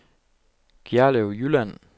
Gjerlev Jylland